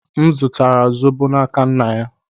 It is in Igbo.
M zụtara zobo n'aka nna ya.